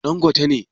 Dan gote ne